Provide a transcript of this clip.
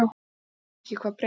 En ég veit ekki hvað breytist.